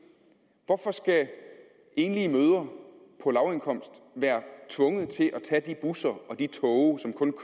hvorfor skal enlige mødre på lavindkomst være tvunget til at tage de busser og de tog